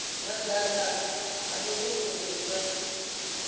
madaka ha muvhuso hu nga